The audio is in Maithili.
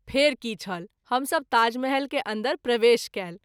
फेरि की छल हम सभ ताजमहल के अन्दर प्रवेश कएल।